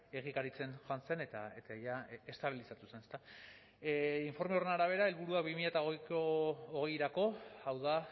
egikaritzen joan zen eta jada estabilizatu zen ezta informe horren arabera helburua bi mila hogeirako hau da